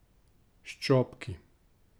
S čopki.